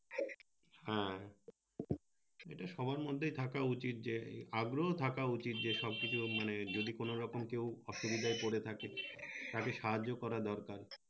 হ্যাঁ এটা সবার মধ্যেই থাকা উচিৎ যে আগ্রহ থাকা উচিৎ যে সব কিছু মানে যদি কোন রকম কেও অসুবিধায় পরে থাকে তাকে সাহায্য করার দরকার।